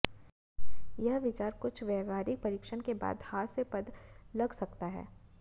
यह विचार कुछ व्यावहारिक प्रशिक्षण के बाद हास्यास्पद लग सकता है